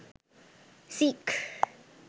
seek